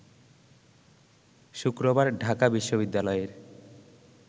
শুক্রবার ঢাকা বিশ্ববিদ্যালয়ের